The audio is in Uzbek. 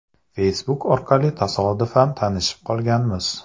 Facebook orqali tasodifan tanishib qolganmiz.